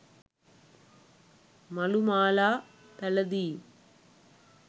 මලු මාලා පැළඳීම්,